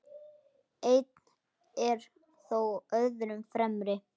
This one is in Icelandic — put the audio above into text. Einn er þó öðrum fremri.